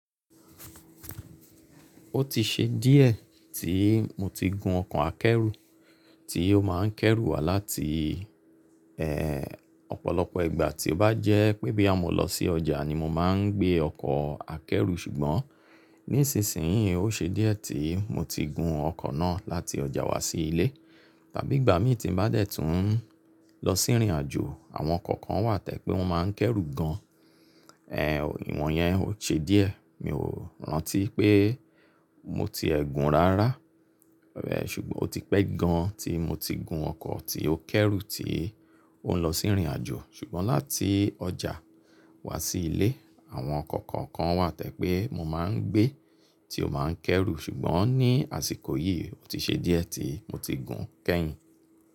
Ó ti ṣe díẹ̀ tí mo ti gun ọkọ̀ akẹ́rù tí ó máa ń kẹ́rù wá láti ọ̀pọ̀lọpọ̀ ìgbà tí ó bá jẹ́ pé bóyá mo lọ sí ọjà ni mo máa ń gbé ọkọ̀ akẹ́rù ṣùgbọ́n nísinsìnyí ó ṣe díẹ̀ tí mo ti gun ọkọ̀ náà láti ọjà wá sí ilé. Tàbí ìgbà mí tí n bá dé tùún lọ sí ìrìnàjò àwọn ọkọ̀ kan wà tẹ́ pé wọ́n máa ń kẹ́rù gan an. Ìwọ̀n yẹn ò ṣe díẹ̀. Mi ò rántí pé mo ti ẹ́ gun rárá. Ṣùgbọ́n ó ti pẹ́ gan an tí mo ti gun ọkọ̀ tí ó kẹ́rù tí ó ń lọ sí ìrìnàjò. Ṣùgbọ́n láti ọjà wá sí ilé àwọn ọkọ̀ kọ̀ọ̀kan wà tẹ́ pé mo máa ń gbé tí ó máa ń kẹ́rù. Ṣùgbọ́n ní àsìkò yìí ó ti ṣe díẹ̀ tí mo ti gun kẹ́yìn.